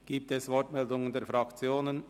Gibt es Wortmeldungen der Fraktionen?